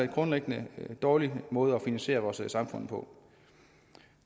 grundlæggende en dårlig måde at finansiere vores samfund på